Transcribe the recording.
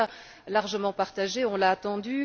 Un constat largement partagé, on l'a entendu.